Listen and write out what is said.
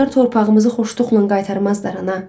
Onlar torpağımızı xoşluqla qaytarmazlar ana.